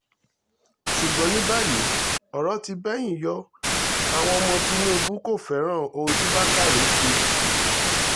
ṣùgbọ́n ní báyìí ọ̀rọ̀ ti bẹ́yìn yọ àwọn ọmọ tìnùbù kò fẹ́ràn ohun tí bákané ṣe